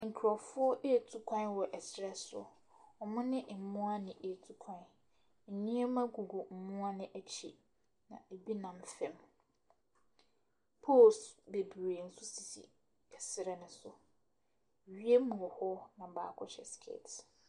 Nkurɔfoɔ retu kwan wɔ serɛ so. Wɔne mmoa na ɛretu kwan. Nneɛma gugu mmoa no akyi, na ebi nam fam. Poles babree nso sisi serɛ no so. Wiem wɔ hɔ na baako hyɛ skirt.